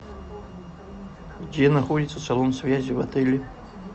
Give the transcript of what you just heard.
где находится салон связи в отеле